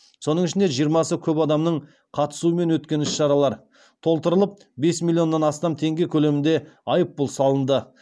соның ішінде жиырмасы көп адамның қатысуымен өткен іс шаралар толтырылып бес миллион астам теңге көлемінде айыппұл салынды